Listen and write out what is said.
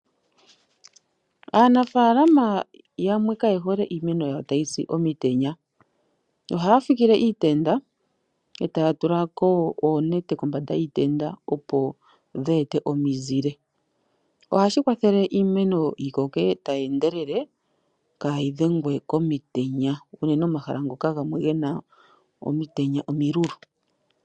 Aanafalama yamwe kaye hole iimeno yawo tayisi omitenya, ohaa fikile iitenda etaya tulako oonete kombanda yiitenda opo dheete omizile. Ohashi kwathele iimeno yikoke tayendelele kayii dhengwe komitenya. unene omahala ngoka gamwe gena omitenya omilulu.